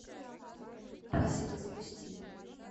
пасека запусти